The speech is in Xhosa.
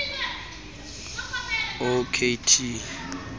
o k t